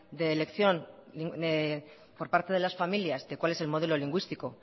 de elección por parte de las familias de cuál es el modelo lingüístico